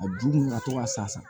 A ju ka to ka san